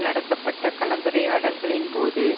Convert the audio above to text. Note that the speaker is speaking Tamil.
நடத்தப்பட்ட கலந்துரையாடல்களின் போது